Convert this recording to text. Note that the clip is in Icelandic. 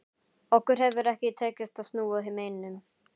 Okkur hefur ekki tekist að snúa neinum.